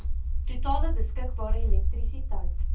totale beskikbare elektrisiteit